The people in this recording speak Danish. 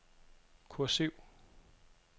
kursiv